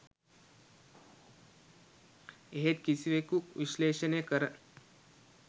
එහෙත් කිසිවෙකු විශ්ලේෂණය කර